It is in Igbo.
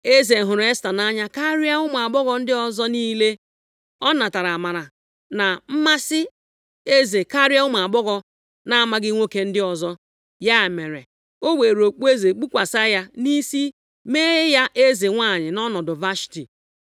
Eze hụrụ Esta nʼanya karịa ụmụ agbọghọ ndị ọzọ niile. Ọ natara amara na mmasị eze karịa ụmụ agbọghọ na-amaghị nwoke ndị ọzọ. Ya mere, o weere okpueze kpukwasị ya nʼisi mee ya eze nwanyị nʼọnọdụ Vashti.